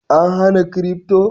An hana kirifto?